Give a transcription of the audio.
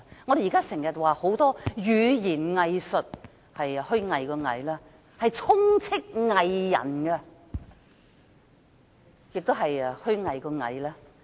我們現在經常提到語言"偽術"，是虛偽的偽；四處充斥着"偽人"，也是虛偽的偽。